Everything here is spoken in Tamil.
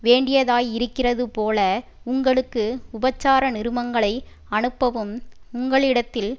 வேண்டியதாயிருக்கிறதுபோல உங்களுக்கு உபசார நிருபங்களை அனுப்பவும் உங்களிடத்தில்